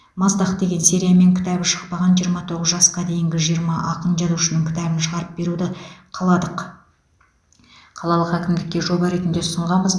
маздақ деген сериямен кітабы шықпаған жиырма тоғыз жасқа дейінгі жиырма ақын жазушының кітабын шығарып беруді қаладық қалалық әкімдікке жоба ретінде ұсынғанбыз